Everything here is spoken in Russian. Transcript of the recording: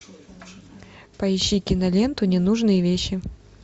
поищи киноленту ненужные вещи